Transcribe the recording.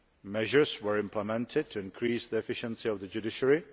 measures were implemented to increase the efficiency of the judiciary